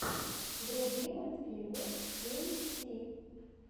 вруби мультфильмы мин ти